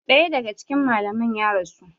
Daya daga cikin malaman ya rasu.